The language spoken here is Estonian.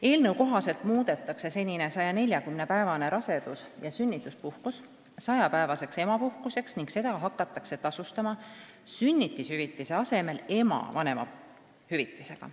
Eelnõu kohaselt muudetakse senine 140-päevane rasedus- ja sünnituspuhkus 100-päevaseks emapuhkuseks ning seda hakatakse tasustama sünnitushüvitise asemel ema vanemahüvitisega.